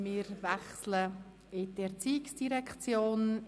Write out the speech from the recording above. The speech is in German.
Wir wechseln in die ERZ.